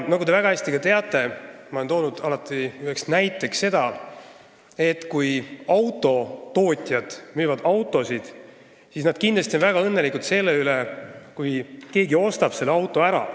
Nagu te väga hästi teate, olen ma alati toonud ühe näitena seda, et kui autotootjad müüvad autosid, siis nad on väga õnnelikud selle üle, kui keegi ostab mõne auto ära.